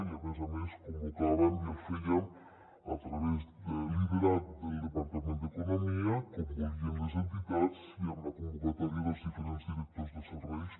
i a més a més el convocàvem i el fèiem liderat pel departament d’economia com volien les entitats i amb la convocatòria dels diferents directors de serveis